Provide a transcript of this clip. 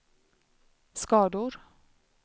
skador